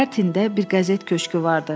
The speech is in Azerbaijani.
Hər tində bir qəzet köşkü vardı.